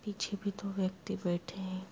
पीछे भी दो व्यक्ति बैठे है।